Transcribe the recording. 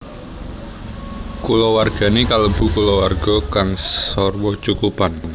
Kulawargane kalebu kulawarga kang sarwa cukupan